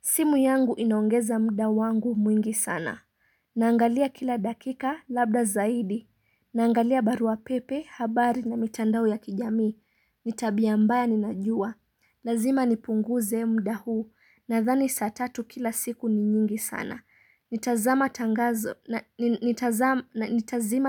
Simu yangu inaongeza muda wangu mwingi sana. Naangalia kila dakika labda zaidi. Naangalia barua pepe, habari na mitandao ya kijamii. Ni tabia mbaya ninajua. Lazima nipunguze mda huu. Nadhani saa tatu kila siku ni nyingi sana. Nitazima